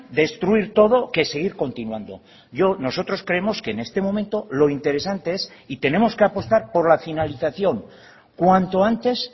destruir todo que seguir continuando yo nosotros creemos que en este momento lo interesante es y tenemos que apostar por la finalización cuanto antes